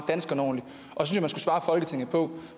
folketinget på